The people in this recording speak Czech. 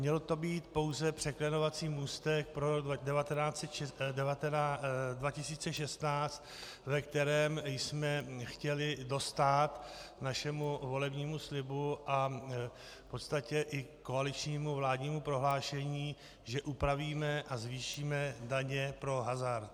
Měl to být pouze překlenovací můstek pro rok 2016, ve kterém jsme chtěli dostát našemu volebnímu slibu a v podstatě i koaličnímu vládnímu prohlášení, že upravíme a zvýšíme daně pro hazard.